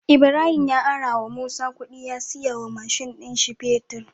Ibahim ya arawa musa kudi ya siya wa mashin din shi fetir